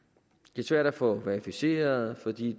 det er svært at få verificeret fordi